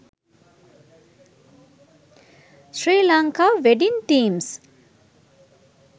sri lanka wedding themes